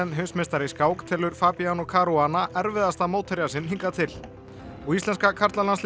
heimsmeistari í skák telur Fabiano Caruana erfiðasta mótherja sinn hingað til og íslenska karlalandsliðið